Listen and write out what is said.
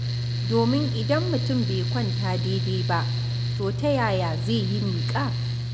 Domin idan mutum bai kwanta daidai ba, to ta yaya zai yi miƙa.